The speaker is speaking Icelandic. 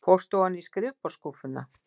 Fórstu ofan í skrifborðsskúffuna?